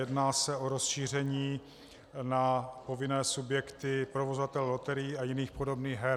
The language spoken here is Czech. Jedná se o rozšíření na povinné subjekty provozovatele loterií a jiných podobných her.